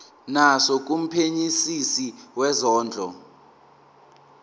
naso kumphenyisisi wezondlo